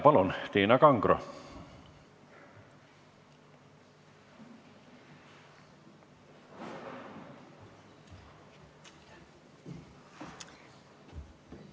Palun, Tiina Kangro!